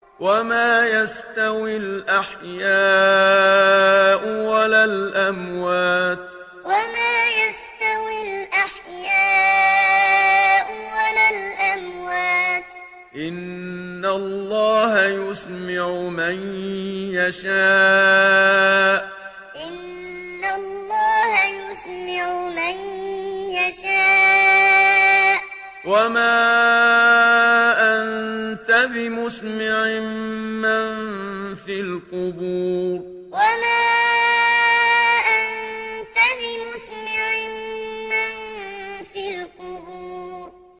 وَمَا يَسْتَوِي الْأَحْيَاءُ وَلَا الْأَمْوَاتُ ۚ إِنَّ اللَّهَ يُسْمِعُ مَن يَشَاءُ ۖ وَمَا أَنتَ بِمُسْمِعٍ مَّن فِي الْقُبُورِ وَمَا يَسْتَوِي الْأَحْيَاءُ وَلَا الْأَمْوَاتُ ۚ إِنَّ اللَّهَ يُسْمِعُ مَن يَشَاءُ ۖ وَمَا أَنتَ بِمُسْمِعٍ مَّن فِي الْقُبُورِ